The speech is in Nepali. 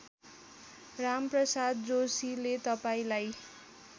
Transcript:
रामप्रसाद जोशीले तपाईँलाई